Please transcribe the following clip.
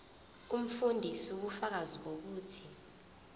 umfundisi ubufakazi bokuthi